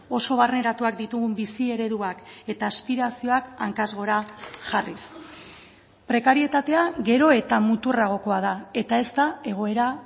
oso barneratuak ditugun bizi ereduak eta aspirazioak hankaz gora jarriz prekarietatea gero eta muturragokoa da eta ez da egoera